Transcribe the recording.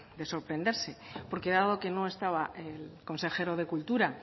de sorprenderse porque dado que no estaba el consejero de cultura